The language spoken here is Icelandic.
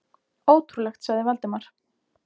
Ótrúlegt sagði Valdimar.